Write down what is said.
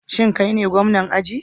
Shin kai ne gwamna ajin?